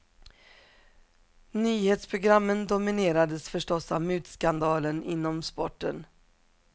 Nyhetsprogrammen dominerades förstås av mutskandalen inom sporten.